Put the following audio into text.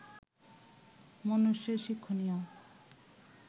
মনুষ্যের শিক্ষণীয়